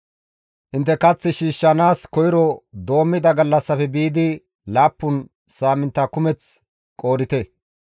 Intte kath shiishshanaas koyro doommida gallassafe biidi laappun saamintta kumeth qoodite.